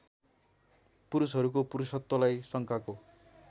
पुरुषहरूको पुरुषत्वलाई शङ्काको